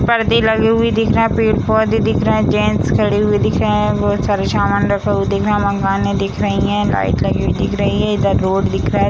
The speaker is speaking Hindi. परदे लगे हुए दिख रहा है | पेड़ पौधे दिख रहा है | जेन्स खड़े हुए दिख रहा है | और बहुत सारे सामान रखे हुए दिख रहा है | मकाने दिख रही है | लाइट लगी दिख रही है | इधर रोड दिख रहा है |